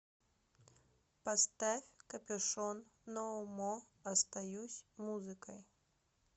поставь копюшон ноу мо остаюсь музыкой